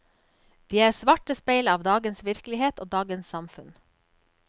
De er svarte speil av dagens virkelighet og dagens samfunn.